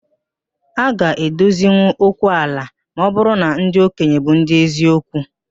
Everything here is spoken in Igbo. A ga edozinwụ okwu ala ma ọ bụrụ na ndị okenye bụ ndị eziokwu